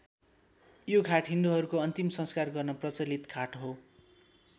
यो घाट हिन्दूहरूको अन्तिम संस्कार गर्न प्रचलित घाट हो।